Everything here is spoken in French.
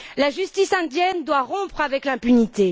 La justice indienne doit rompre avec l'impunité.